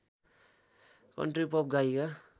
country pop गायिका